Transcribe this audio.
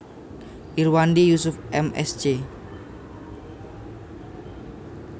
Irwandi Yusuf M Sc